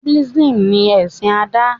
Buddhism ní ẹsìn Ada